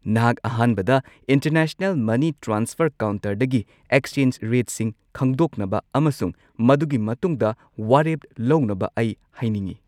ꯅꯍꯥꯛ ꯑꯍꯥꯟꯕꯗ international money transfer ꯀꯥꯎꯟꯇꯔꯗꯒꯤ ꯑꯦꯛꯁꯆꯦꯟꯖ ꯔꯦꯠꯁꯤꯡ ꯈꯪꯗꯣꯛꯅꯕ ꯑꯃꯁꯨꯡ ꯃꯗꯨꯒꯤ ꯃꯇꯨꯡꯗ ꯋꯥꯔꯦꯞ ꯂꯧꯅꯕ ꯑꯩ ꯍꯥꯏꯅꯤꯡꯉꯤ꯫